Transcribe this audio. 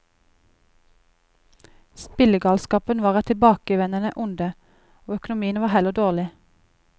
Spillegalskapen var et tilbakevendende onde, og økonomien var heller dårlig.